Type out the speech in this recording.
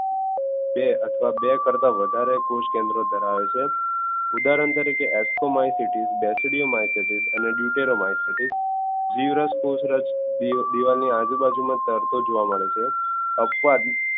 બે અથવા બે કરતાં વધારે કોષકેન્દ્રો ધરાવે છે ઉદારહણ તરીકે ascomycetous basidiomycetes deuteromycetes જીવરસ કોષરસ દીવાલ ની આજુબાજુ તરતો જોવા મળે છે અપવાદ